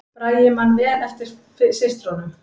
Bragi man vel eftir systrunum